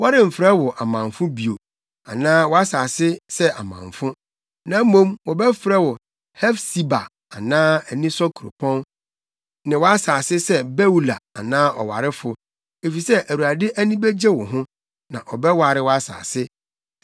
Wɔremfrɛ wo amamfo bio, anaa wʼasase sɛ amamfo. Na mmom wɔbɛfrɛ wo Hefsiba anaa anisɔ Kuropɔn ne wʼasase sɛ Beula anaa ɔwarefo efisɛ Awurade ani begye wo ho, na ɔbɛware wʼasase.